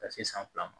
Ka se san fila ma